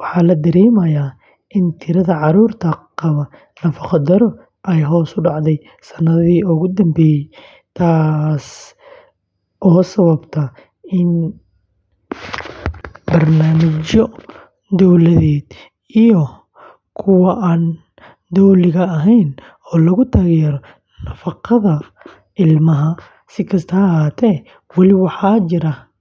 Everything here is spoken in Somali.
waxaa la dareemayaa in tirada carruurta qaba nafaqo-darro ay hoos u dhacday sanadihii ugu dambeeyay, taasoo sabab u ah barnaamijyo dowladeed iyo kuwa aan dowliga ahayn oo lagu taageerayo nafaqada ilmaha. Si kastaba ha ahaatee, weli waxaa jira.